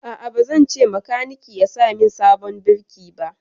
A'a, ba zan ce makaniki ya sa min sabon birki ba.